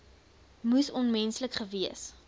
moes onmenslik gewees